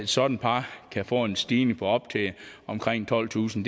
sådant par kan få en stigning på op til omkring tolvtusind